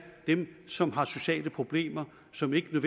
dem som har sociale problemer og som ikke